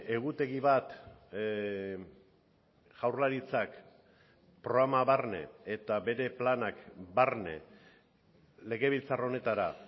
baina egutegi bat jaurlaritzak programa barne eta bere planak barne legebiltzar